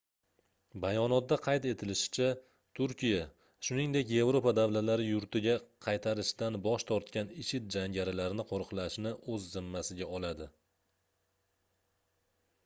bayonotda qayd etilishicha turkiya shunigdek yevropa davlatlari yurtiga qaytarishdan bosh tortgan ishid jangarilarini qoʻriqlashni oʻz zimmasiga oladi